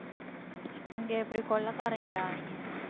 இங்க இப்படி கொள்ளைகாரங்கடா அவிங்க